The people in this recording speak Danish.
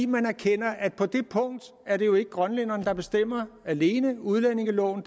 man erkender at på det punkt er det jo ikke grønlænderne der bestemmer alene udlændingeloven